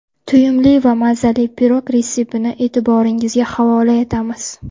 To‘yimli va mazali pirog retseptini e’tiboringizga havola etamiz.